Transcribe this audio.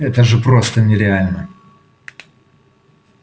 это же просто нереально